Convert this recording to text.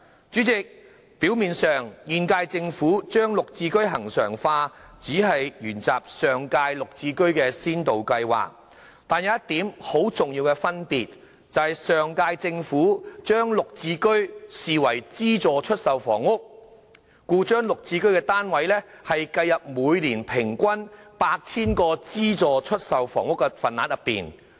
主席，表面上現屆政府把"綠置居"恆常化，只是沿襲上屆"綠置居"先導計劃，但當中有一點很重要的分別，就是上屆政府把"綠置居"視為資助出售房屋，故將"綠置居"單位計入每年平均 8,000 個資助出售房屋的份額內。